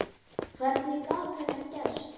Hvernig gat þetta gerst?